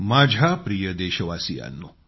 माझ्या प्रिय देशवासियांनो